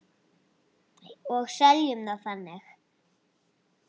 Og seljum það þannig.